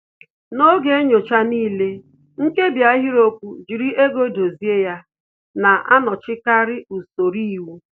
N'oge nyocha n'ile, nkebi ahịrịokwu "jiri ego dozie ya" na-anọchikarị usoro iwu